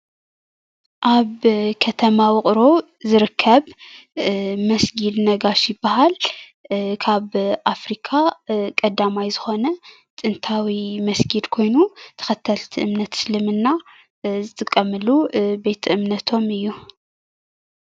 ኣብ ከተማ ውቅሮ ዝርከብ መስጊድ ነጋሽ ይባሃል። ካብ ኣፍሪካ ቀዳማይ ዝኾነ ጥነታዊ መስጊድ ኮይኑ ተኸተልቲ እምነት እስልምና ዝጥቀሙሉ ቤተ እምነቶም እዩ።